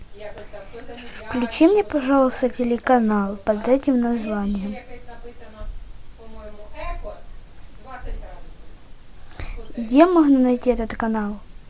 включи мне пожалуйста телеканал под этим названием где можно найти этот канал